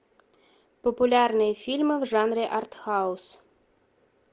популярные фильмы в жанре артхаус